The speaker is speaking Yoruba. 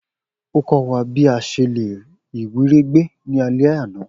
O kọ wa bi a ṣe le iwiregbe ni alẹ ana.